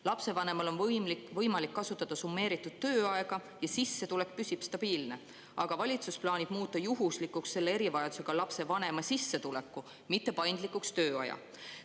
Lapsevanemal on võimalik kasutada summeeritud tööaega ja sissetulek püsib stabiilne, aga valitsus plaanib muuta juhuslikuks selle erivajadusega lapse vanema sissetuleku, mitte paindlikuks tööaja.